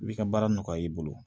I bi ka baara nɔgɔya i bolo